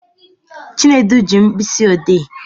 Chinedu ji mkpịsị odee